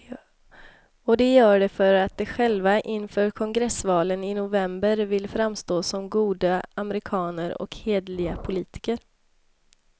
Och de gör det för att de själva inför kongressvalen i november vill framstå som goda amerikaner och hederliga politiker.